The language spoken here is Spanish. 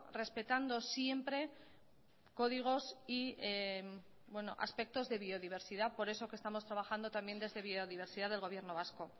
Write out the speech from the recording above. respetando siempre códigos y aspectos de biodiversidad por eso que estamos trabajando también desde biodiversidad del gobierno vasco